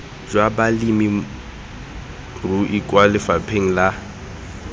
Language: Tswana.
jwa balemirui kwa lefapheng la